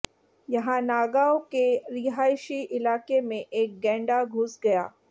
यहां नागांव के रिहायशी इलाके में एक गैंडा घुस गया